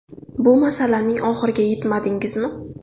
Bu masalaning oxiriga yetmadingizmi?